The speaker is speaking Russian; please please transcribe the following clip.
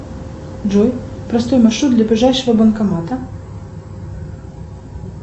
джой построй маршрут до ближайшего банкомата